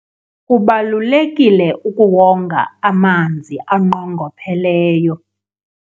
kubalulekile ukuwonga amanzi anqongopheleyo